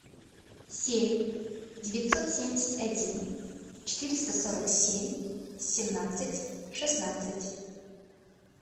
семь девятьсот семьдесят один четыреста сорок семь семнадцать шестнадцать